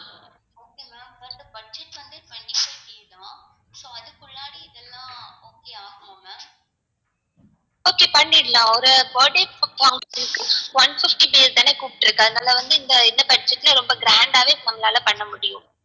okay பண்ணிடலாம் ஒரு birthday function க்கு one fifty பேர் தான கூப்ட்ருக்க அதனால வந்து இந்த budget ல ரொம்ப grand ஆவே நம்மளால பண்ண முடியும்